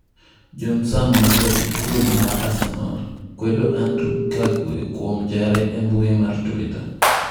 John Sam ma jarit gol mar Arsenal kwedo Andrew Kagwe kuom jare e mbui mar Twitter